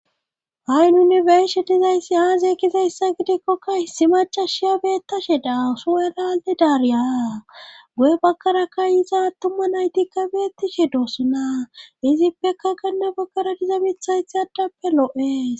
ha7i nuni beyishe dizaysi aaze gizayssa gidikkokka issi macashiya beettashe daa so7elale daariya goye bakkarakka yiza attuma naytikka beettishe doosuna izippeka kanne bakkara diza mitha thadappe lo7es